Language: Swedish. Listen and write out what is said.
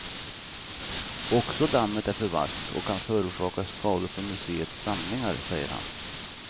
Också dammet är för vasst och kan orsaka skador på museets samlingar, säger han.